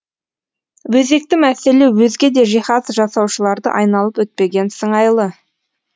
өзекті мәселе өзге де жиһаз жасаушыларды айналып өтпеген сыңайлы